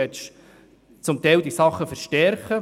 Sie möchten zum Teil diese Dinge verstärken.